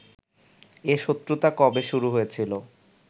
এ শত্রুতা কবে শুরু হয়েছিল